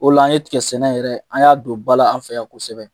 O de la an ye tigɛ sɛnɛ yɛrɛ ,an y'a don ba la anw fɛ yan kosɛbɛ.